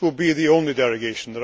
This will be the only derogation.